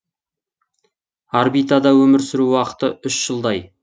орбитада өмір сүру уақыты үш жылдай